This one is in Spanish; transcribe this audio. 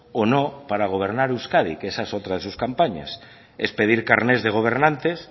o no para gobernar euskadi que esa es otra de sus campañas es pedir carnets de gobernantes